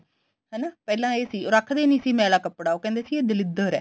ਹਨਾ ਪਹਿਲਾਂ ਇਹ ਸੀ ਉਹ ਰੱਖਦੇ ਨੀ ਸੀ ਮੈਲਾ ਕੱਪੜਾ ਉਹ ਕਹਿੰਦੇ ਸੀ ਦਲਿਦਰ ਐ